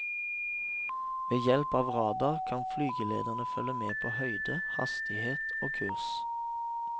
Ved hjelp av radar kan flygelederene følge med på høyde, hastighet og kurs.